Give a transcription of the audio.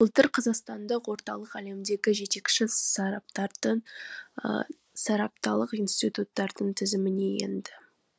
былтыр қазақстандық орталық әлемдегі жетекші сарапталық институттардың тізіміне енді